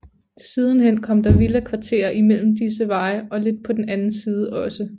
Siden hen kom der villakvarterer i mellem disse veje og lidt på den anden side også